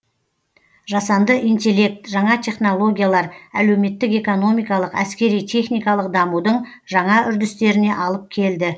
жасанды интеллект жаңа технологиялар әлеуметтік экономикалық әскери техникалық дамудың жаңа үрдістеріне алып келді